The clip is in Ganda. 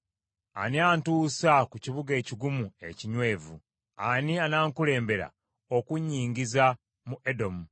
Ani anantuusa ku kibuga ekigumu ekinywevu? Ani anankulembera okunnyingiza mu Edomu?